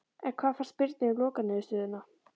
En hvað fannst Birni um lokaniðurstöðuna?